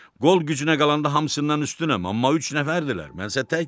Qol gücünə qalanda hamısından üstünəm, amma üç nəfərdirlər, mən isə tək.